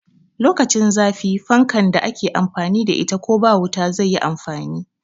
Lokacin zafi fankan da ake amfani da ita ko ba wuta zai yi amfani